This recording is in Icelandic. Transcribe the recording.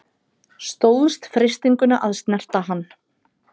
Stóðst freistinguna að snerta hann